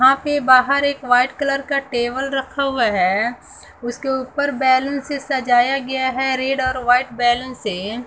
यहां पे बाहर एक व्हाइट कलर का टेबल रखा हुआ है उसके ऊपर बैलून से सजाया गया है रेड और व्हाइट बैलून से।